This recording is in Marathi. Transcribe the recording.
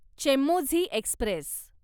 चेम्मोझी एक्स्प्रेस